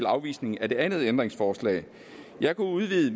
afvisningen af det andet ændringsforslag jeg kan udvide